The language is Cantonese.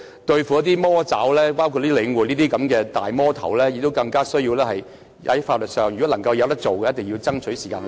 對付"魔爪"或好像領展這種"大魔頭"，更需要採取法律途徑，如果能夠做到，便一定要爭取時間去做。